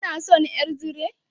Kina son ƴar zire?